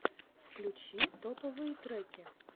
включи топовые треки